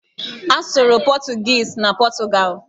A sụrụ pọchụguishi na Pọchụgalụ.